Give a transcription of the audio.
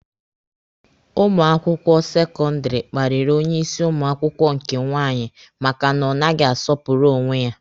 Ụmụ akwụkwọ sekọndịrị kparịrị onye isi ụmụ akwụkwọ nke nwaanyị maka na ọ naghị asọpụrụ onwe ya